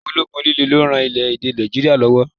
Ológun líle ló lè ran orílè-èdè Nàìjíríà lọ́wọ́.